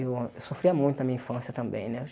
Eu ãh eu sofria muito na minha infância também, né?